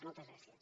moltes gràcies